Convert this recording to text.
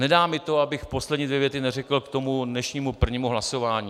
Nedá mi to, abych poslední dvě věty neřekl k tomu dnešnímu prvnímu hlasování.